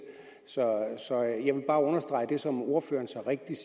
så jeg vil bare understrege det som ordføreren så rigtigt